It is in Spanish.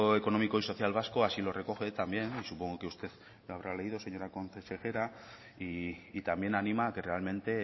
económico y social vasco así lo recoge también y supongo que usted lo habrá leído señora consejera y también anima a que realmente